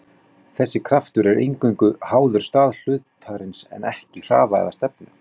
Þessi kraftur er eingöngu háður stað hlutarins en ekki hraða eða stefnu.